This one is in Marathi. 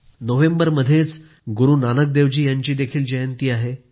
नोव्हेंबरमध्येच गुरू नानकदेवजी यांची जयंतीही आहे